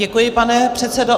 Děkuji, pane předsedo.